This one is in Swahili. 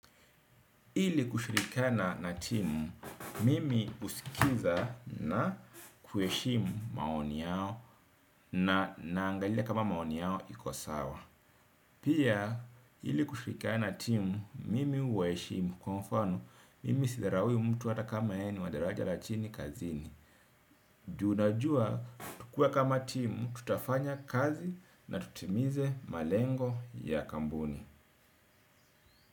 Ili kushirikiana na timu, mimi huskiza na kuheshimu maoni yao na naangalia kama maoni yao ikosawa. Pia, ili kushirikiana na timu, mimi uwaheshimu kwa mfano, mimi sidharawi mtu hata kama yeye ni wa daraja la chini kazini. Juu na jua, tukiwa kama timu, tutafanya kazi na tutimize malengo ya kambuni.